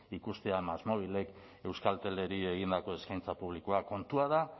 ikustea másmóvilek euskalteleri egindako eskaintza publikoa kontua da